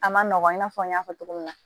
A ma nɔgɔ i n'a fɔ n y'a fɔ cogo min na